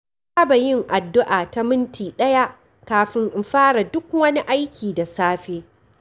Na saba yin addu’a ta minti ɗaya kafin in fara duk wani aiki da safe.